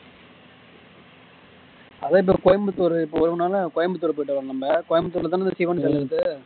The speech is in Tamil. அதே இப்போ கோயம்புத்தூர் கோயம்பத்தூருலதான சிவன்